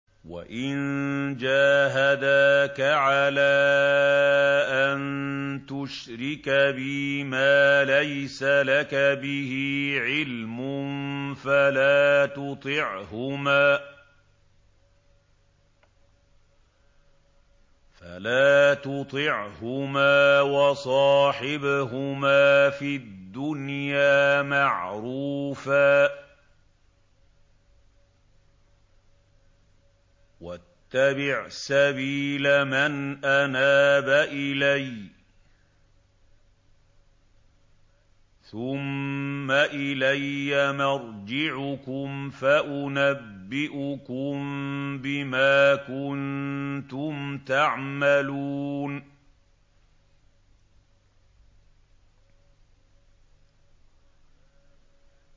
وَإِن جَاهَدَاكَ عَلَىٰ أَن تُشْرِكَ بِي مَا لَيْسَ لَكَ بِهِ عِلْمٌ فَلَا تُطِعْهُمَا ۖ وَصَاحِبْهُمَا فِي الدُّنْيَا مَعْرُوفًا ۖ وَاتَّبِعْ سَبِيلَ مَنْ أَنَابَ إِلَيَّ ۚ ثُمَّ إِلَيَّ مَرْجِعُكُمْ فَأُنَبِّئُكُم بِمَا كُنتُمْ تَعْمَلُونَ